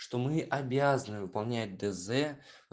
что мы обязаны выполнять дз